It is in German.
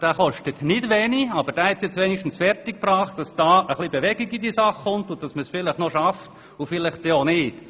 Dieser kostet nicht wenig, aber er hat es zumindest fertiggebracht, dass ein wenig Bewegung in diese Sache kommt und man es vielleicht schafft, aber vielleicht auch nicht.